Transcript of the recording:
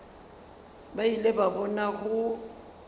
ba ile ba bona go